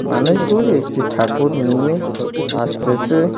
মানুষগুলি একটি ঠাকুর নিয়ে আসতেছে।